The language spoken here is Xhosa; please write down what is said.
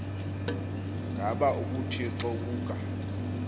ngaba ubuthixo buka